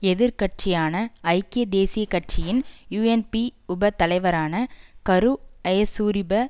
எதிர் கட்சியான ஐக்கிய தேசிய கட்சியின் யூஎன்பி உப தலைவரான கரு ஜயசூரிய